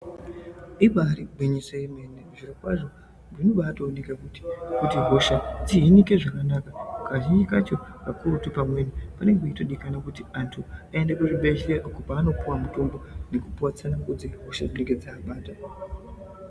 Ibari gwinyiso remene zviro kwazvo Zvinobaoneka kuti hosha dzihinike zvakanaka kazhinji kacho kakurutu pamweni vanenge vachitooneka kuti vantu vaende kuzvibhedhlera kwavanenge vachitooneka kupuwa mutombo Nekupuwa tsangamidzi.